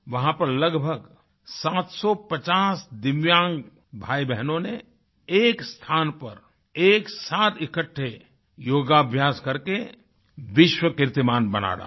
वहाँ पर लगभग 750 दिव्यांग भाईबहनों ने एक स्थान पर एक साथ इकट्ठे योगाभ्यास करके विश्व कीर्तिमान बना डाला